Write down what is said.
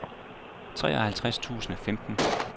treoghalvtreds tusind og femten